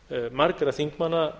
margra þingmanna